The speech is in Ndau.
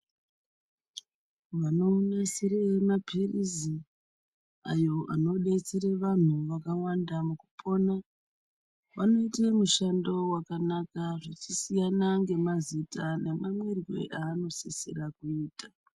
Vanonasire maphilizi ayo anodetsere vanhu vakawanda mukupona ,vanoite mushando wakanaka zvichisiyana ngemazita nemamwirwe aanosisira kuita.